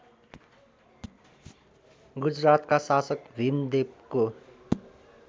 गुजरातका शासक भीमदेवको